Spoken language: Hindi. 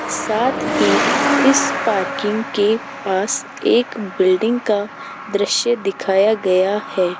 साथ ही इस पार्किंग के पास एक बिल्डिंग का दृश्य दिखाया गया है।